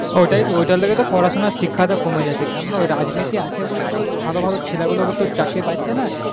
হ্যাঁ হ্যাঁ ওটার জন্য পড়াশুনার শিক্ষা কমে যাচ্ছে রাজনীতি আছে বলে ভালো ভালো ছেলে গুলো চাকরি পাচ্ছেনা